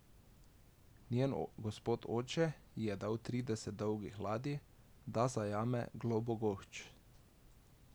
Njen gospod oče ji je dal trideset dolgih ladij, da zajame Globogošč.